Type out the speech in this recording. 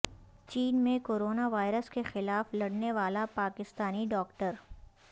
چین میں corona virus کے خلاف لڑنے والا پاکستانی ڈاکٹر